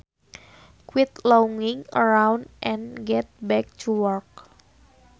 Quit lounging around and get back to work